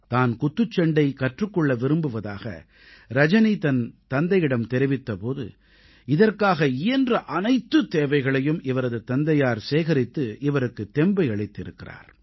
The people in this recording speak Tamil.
தான் குத்துச் சண்டை கற்றுக் கொள்ள விரும்புவதாக ரஜனி தன் தந்தையிடம் தெரிவித்த போது இதற்காக இயன்ற அனைத்து தேவைகளையும் இவரது தந்தையார் சேகரித்து இவருக்குத் தெம்பை அளித்திருந்தார்